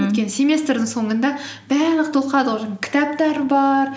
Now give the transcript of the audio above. өйткені семестрдің соңында барлығы жаңағы кітаптар бар